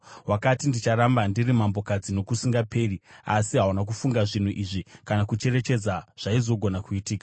Wakati, “Ndicharamba ndiri mambokadzi nokusingaperi!” Asi hauna kufunga zvinhu izvi, kana kucherechedza zvaizogona kuitika.